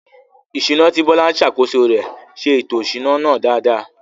Ìṣúná, tí Bola ń ṣàkóso rẹ̀, ṣe ètò ìṣúná náà dáadáa.